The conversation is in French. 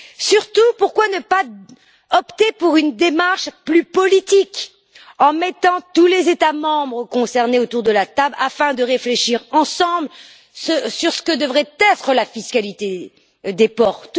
Surtout, pourquoi ne pas opter pour une démarche plus politique en mettant tous les États membres concernés autour de la table afin de réfléchir ensemble à ce que devrait être la fiscalité des ports?